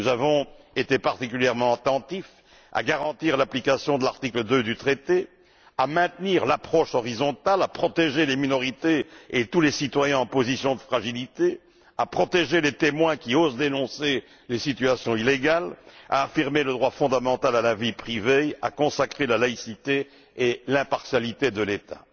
Nous avons été particulièrement attentifs à garantir l'application de l'article2 du traité, à maintenir l'approche horizontale, à protéger les minorités et tous les citoyens en position de fragilité, à protéger les témoins qui osent dénoncer les situations illégales, à affirmer le droit fondamental à la vie privée et à consacrer la laïcité et l'impartialité de l'État.